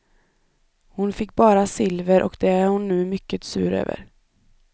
Hon fick bara silver och det är hon nu mycket sur över.